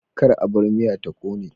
Kar a bar miya ta kone